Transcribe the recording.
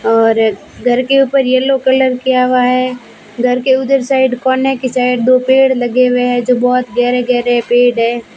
और घर के ऊपर यल्लो कलर किया हुआ है घर के उधर साइड कोने के साइड दो पेड़ लगे हुए हैं जो बहोत गहरे गहरे पेड़ हैं।